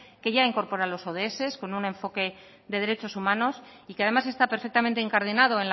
que ya incorpora los con un enfoque de derechos humanos y que además está perfectamente incardinado